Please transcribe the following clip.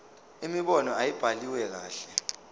imibono ayibhaliwe kahle